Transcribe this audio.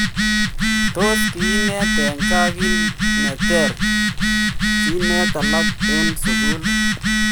Tos kinet en gaa kit neter sinet alak en sugul iih?